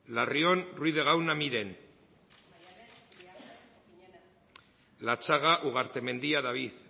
larrion ruiz de gauna miren latxaga ugartemendia david